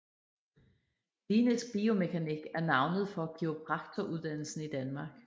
Klinisk biomekanik er navnet for kiropraktoruddannelsen i Danmark